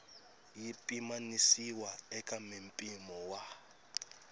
yi pimanisiwa eka mimpimo wa